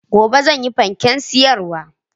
Gobe zanyi fanken siyarwa